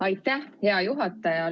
Aitäh, hea juhataja!